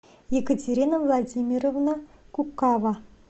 екатерина владимировна кукава